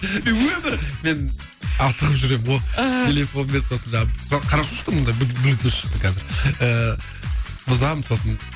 мен өмірі мен асығып жүремін ғой ыыы телефонмен сосын жаңағы хорошо что мында блютуз шықты қазір ыыы бұзамын сосын